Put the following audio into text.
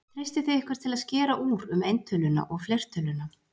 Treystið þið ykkur til að skera úr um eintöluna og fleirtöluna?